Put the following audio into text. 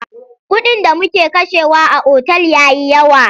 Kuɗin da muke kashewa a otal ya yi yawa.